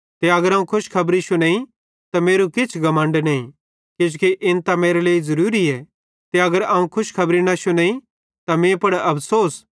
ते अगर अवं खुशखबरी शुनेइं त मेरू किछ घमण्ड नईं किजोकि इन त मेरे लेइ ज़रूरीए ते अगर अवं खुशखबरी न शुनेइं त मीं पुड़ अफ़सोस